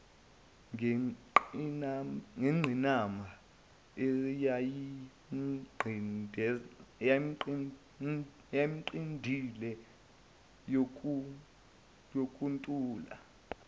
ngengqinamba eyayimnqindile yokuntula